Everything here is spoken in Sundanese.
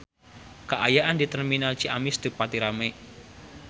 Kaayaan di Terminal Ciamis teu pati rame